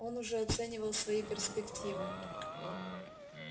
он уже оценивал свои перспективы